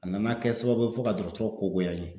A nana kɛ sababu ye fo ka dɔgɔtɔrɔ ko goya n ye.